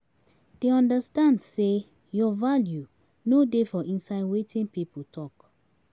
Dey understand sey your value no dey for inside wetin pipo talk